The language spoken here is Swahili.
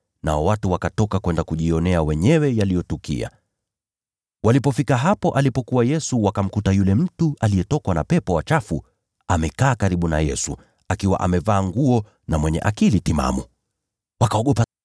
Nao watu wakatoka kwenda kujionea wenyewe yaliyotukia. Walipofika hapo alipokuwa Yesu, wakamkuta yule mtu aliyetokwa na pepo wachafu amekaa karibu na Yesu, akiwa amevaa nguo na mwenye akili timamu! Wakaogopa.